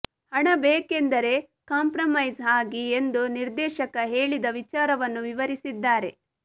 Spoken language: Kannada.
ಹಣ ಬೇಕೆಂದರೆ ಕಾಂಪ್ರಮೈಸ್ ಆಗಿ ಎಂದು ನಿರ್ದೇಶಕ ಹೇಳಿದ ವಿಚಾರವನ್ನು ವಿವರಿಸಿದ್ದಾರೆ